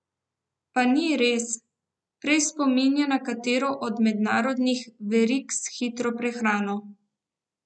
Pa ni res, prej spominja na katero od mednarodnih verig s hitro prehrano.